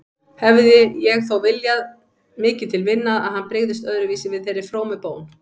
Hefði ég þó viljað mikið til vinna að hann brygðist öðruvísi við þeirri frómu bón.